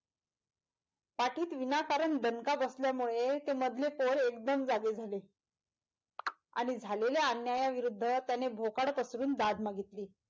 पाठीत विनाकारण दणका बसल्यामुळे ते मधले पोर एगदम जागे झाले आणि झालेल्या अन्याया विरुद्ध त्याने भोकाड पसरून दाद मागितली.